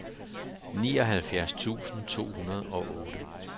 nioghalvfjerds tusind to hundrede og otte